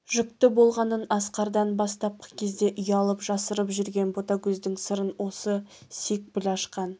жүкті болғанын асқардан бастапқы кезде ұялып жасырып жүрген ботагөздің сырын осы секпіл ашқан